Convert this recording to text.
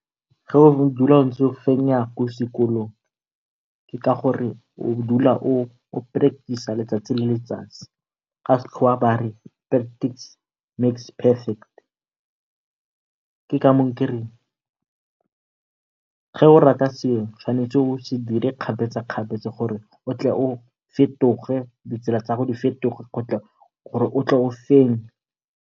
Ge o dula o ntse o fenya ko sekolong ke ka gore o dula ntse o practice-a letsatsi le letsatsi ka sekgowa ba re practice makes perfect. Ke ka moo ke reng ge o rata selo o tshwanetse o se dire kgapetsakgapetsa gore o tle o fetoge, ditsela tsa gago di fetoge gore o tle o fenye.